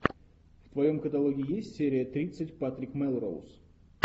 в твоем каталоге есть серия тридцать патрик мелроуз